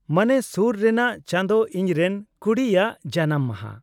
ᱢᱟᱱᱮ ᱥᱩᱨ ᱨᱮᱱᱟᱜ ᱪᱟᱸᱫᱚ ᱤᱧᱨᱮᱱ ᱠᱩᱲᱤᱭᱟᱜ ᱡᱟᱱᱟᱢ ᱢᱟᱦᱟ